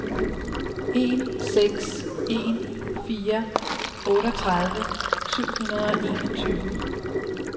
en seks en fire otteogtredive syv hundrede og enogtyve